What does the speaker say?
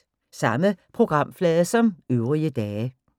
Samme programflade som øvrige dage